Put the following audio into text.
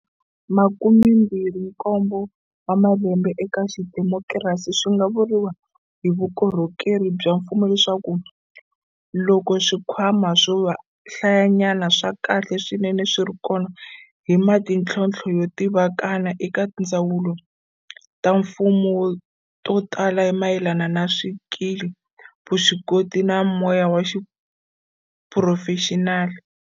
Makumembirhinkombo wa malembe eka xidemokirasi, swi nga vuriwa hi vukorhokeri bya mfumo leswaku loko swikhwama swo hlayanyana swa kahle swinene swi ri kona, hi na mitlhontlho yo tivikana eka tindzawulo ta mfumo to tala hi mayelana na swikili, vuswikoti, na moya wa xiphurofexinali.